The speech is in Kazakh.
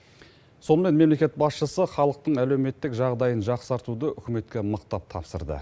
сонымен мемлекет басшысы халықтың әлеуметтік жағдайын жақсартуды үкіметке мықтап тапсырды